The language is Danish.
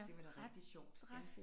Det var da rigtig sjovt ja